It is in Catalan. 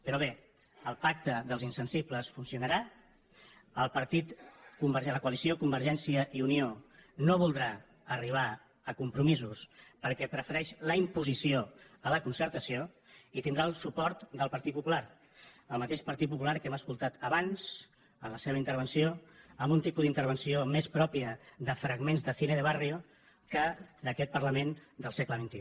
però bé el pacte dels insensibles funcionarà la coalició convergència i unió no voldrà arribar a compromisos perquè prefereix la imposició a la concertació i tindrà el suport del partit popular el mateix partit popular que hem escoltat abans en la seva intervenció amb un tipus d’intervenció més pròpia de fragments de cine de barriodel segle xxi